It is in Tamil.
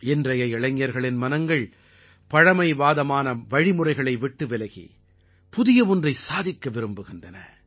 இன்றைய இளைஞர்களின் மனங்கள் பழமைவாதமான வழிமுறைகளை விட்டு விலகி புதிய ஒன்றை சாதிக்க விரும்புகின்றன